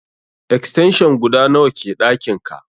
Extension guda nawa ke ɗakin ka?